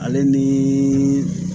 Ale ni